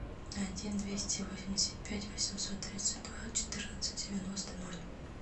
один двести восемьдесят пять восемьсот тридцать два четырнадцать девяносто ноль